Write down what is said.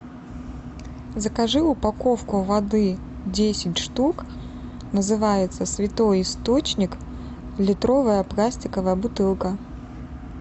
закажи упаковку воды десять штук называется святой источник литровая пластиковая бутылка